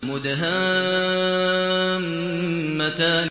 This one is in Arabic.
مُدْهَامَّتَانِ